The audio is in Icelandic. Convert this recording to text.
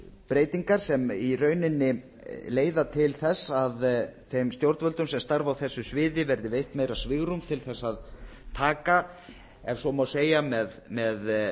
breytingar sem í rauninni leiða til þess að þeim stjórnvöldum sem starfa á þessu sviði verði veitt meira svigrúm til þess að taka ef svo má segja með